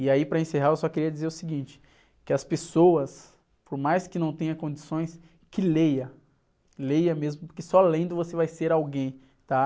E aí para encerrar eu só queria dizer o seguinte, que as pessoas, por mais que não tenha condições, que leia, leia mesmo, porque só lendo você vai ser alguém, tá?